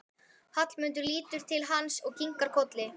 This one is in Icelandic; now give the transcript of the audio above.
Hallmundur lítur til hans og kinkar kolli.